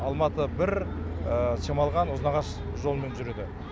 алматы бір шамалған ұзынағаш жолымен жүреді